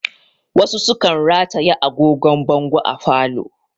Wasu sukan rataye agogon bango a falo